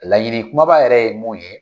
Laɲini kumaba yɛrɛ ye mun ye.